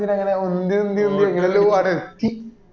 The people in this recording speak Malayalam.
എന്നിട്ട് എങ്ങാനോ ഉന്തി ഉന്ത ഉന്തി എങ്ങനെല്ലോ ആട എത്തി